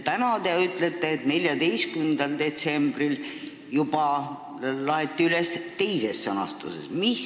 Täna te ütlete, et 14. detsembril juba laeti see üles teises sõnastuses?